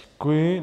Děkuji.